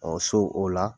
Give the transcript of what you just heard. Ɔ so o la